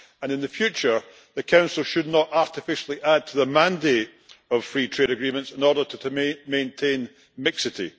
In future, the Council should not artificially add to the mandate for free trade agreements in order to maintain mixity.